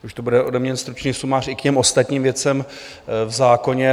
Už to bude ode mě stručný sumář i k těm ostatním věcem v zákoně.